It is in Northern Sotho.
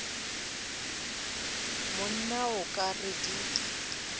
monna o ka re di